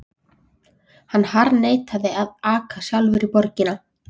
Hann harðneitar að aka sjálfur í borginni.